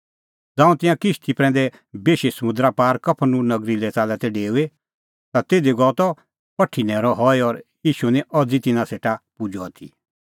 ज़ांऊं तिंयां किश्ती प्रैंदै बेशी समुंदरा पार कफरनहूम नगरी लै च़ाल्लै तै डेऊई ता तिधी गअ त पठी न्हैरअ हई और ईशू निं अज़ी तिन्नां सेटा पुजअ आथी